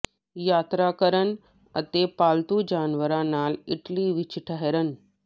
ਯਾਤਰਾ ਕਰਨ ਅਤੇ ਪਾਲਤੂ ਜਾਨਵਰਾਂ ਨਾਲ ਇਟਲੀ ਵਿੱਚ ਠਹਿਰਨ